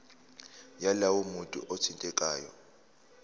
yalowo muntu othintekayo